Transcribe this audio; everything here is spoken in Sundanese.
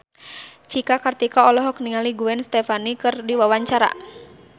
Cika Kartika olohok ningali Gwen Stefani keur diwawancara